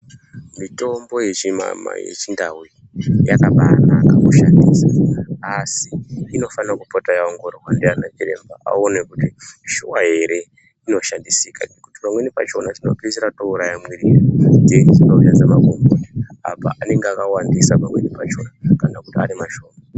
Mitombo yechimamai, yechiNdau iyi yakabaanaka kushandisa , asi inofanira kupota yaongororwa ndiana chiremba aone kuti shuwa ere inoshandisika, ngekuti pamweni pachona tinopeisira toouraya mwiri dzedu ngekushandisa magomboti apo anenge akawandisa pamweni pachona kana kuti ari mashoma.